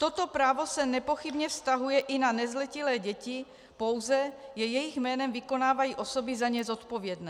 Toto právo se nepochybně vztahuje i na nezletilé děti, pouze je jejich jménem vykonávají osoby za ně zodpovědné.